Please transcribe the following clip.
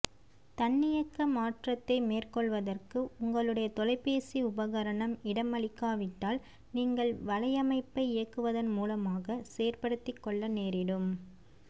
தன்னியக்க மாற்றத்தை மேற்கொள்வதற்கு உங்களுடைய தொலைபேசி உபகரணம் இடமளிக்காவிட்டால் நீங்கள் வலையமைப்பை இயக்குவதன் மூலமாக செயற்படுத்திக்கொள்ள நேரிடும்